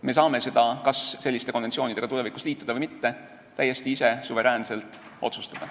Me saame seda, kas selliste konventsioonidega tulevikus liituda või mitte, täiesti ise, suveräänselt otsustada.